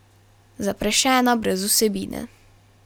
Zaprašena, brez vsebine.